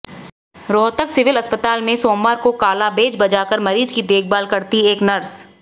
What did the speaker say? Rohtak civil अस्पताल में सोमवार को काला बैज लगाकर मरीज की देखभाल करती एक नर्स